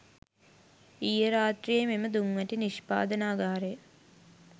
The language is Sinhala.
ඊයේ රාත්‍රීයේ මෙම දුම්වැටි නිෂ්පාදනාගාරය